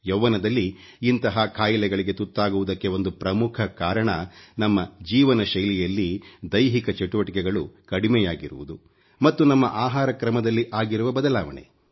ಯವ್ವನದಲ್ಲಿ ಇಂತಹ ಖಾಯಿಲೆಗಳಿಗೆ ತುತ್ತಾಗುವುದಕ್ಕೆ ಒಂದು ಪ್ರಮುಖ ಕಾರಣ ನಮ್ಮ ಜೀವನಶೈಲಿ ಯಲ್ಲಿ ದೈಹಿಕ ಚಟುವಟಿಕೆಗಳು ಕಡಿಮೆಯಾಗಿರುವುದು ಮತ್ತು ನಮ್ಮ ಆಹಾರ ಕ್ರಮದಲ್ಲಿ ಆಗಿರುವ ಬದಲಾವಣೆ